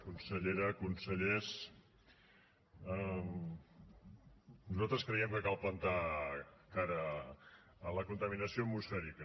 consellera consellers nosaltres creiem que cal plantar cara a la contaminació atmosfèrica